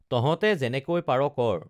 তঁহতে যেনেকৈ পাৰ কৰ